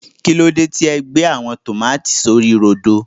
kílódé tí e gbé àwọn tòmátì sí orí rodo.